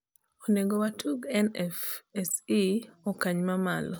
inego watug nfse okany ma malo